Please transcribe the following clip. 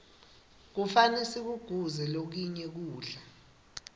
kufane sikuguze lokinye kudla